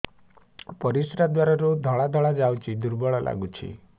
ପରିଶ୍ରା ଦ୍ୱାର ରୁ ଧଳା ଧଳା ଯାଉଚି ଦୁର୍ବଳ ଲାଗୁଚି